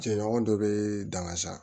Jɛɲɔgɔn dɔ bɛ danga sa